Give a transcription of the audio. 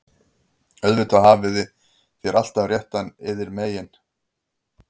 Auðvitað hafið þér alltaf réttinn yðar megin,- ef svo má segja.